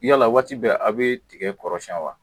Yala waati bɛɛ a' bee tigɛ kɔrɔsiyɛn wa?